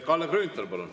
Kalle Grünthal, palun!